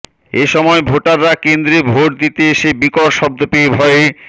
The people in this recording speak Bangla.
এসময় ভোটাররা কেন্দ্রে ভোট দিতে এসে বিকট শব্দ পেয়ে ভয়ে